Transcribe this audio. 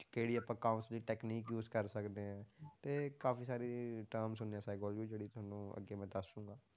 ਕਿਹੜੀ ਆਪਾਂ cause ਦੀ technique use ਕਰ ਸਕਦੇ ਹਾਂ ਤੇ ਕਾਫ਼ੀ ਸਾਰੇ terms ਹੁੰਦੇ ਆ psychology ਵਿੱਚ ਜਿਹੜੇ ਤੁਹਾਨੂੰ ਅੱਗੇ ਮੈਂ ਦੱਸ ਦੁਗਾਂ।